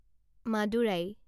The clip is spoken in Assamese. মাদুৰাই